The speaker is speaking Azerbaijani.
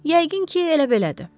Yəqin ki, elə belədir.